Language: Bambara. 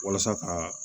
Walasa kaa